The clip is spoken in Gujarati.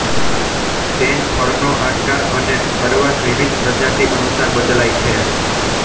તેન ફળનો આકાર અને કડવાશ વિવિધ પ્રજાતિ અનુસાર બદલાય છે